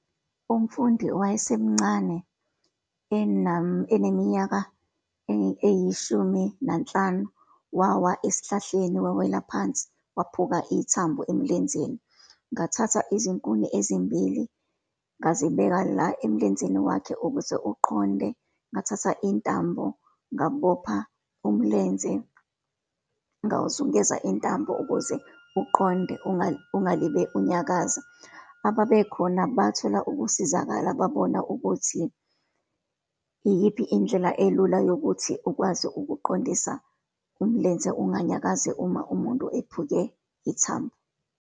Umfundi owayesemncane, eneminyaka eyishumi nanhlanu, wawa esihlahleni, wawela phansi, waphuka ithambo emlenzeni. Ngathatha izinkuni ezimbili, ngazibeka la emlenzeni wakhe, ukuze uqonde, ngathatha intambo ngabopha umlenze, ngawuzungeza intambo ukuze uqonde ungalibeli unyakaza. Ababekhona bathola ukusizakala, babona ukuthi iyiphi indlela elula yokuthi ukwazi ukuqondisa umlenze, unganyakazi uma umuntu ephuke ithambo.